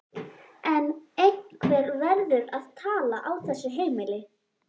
En einhver verður að tala á þessu heimili.